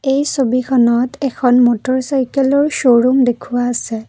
এই ছবিখনত এখন মটৰ চাইকেলৰ শ্ব'ৰুম দেখুওৱা আছে।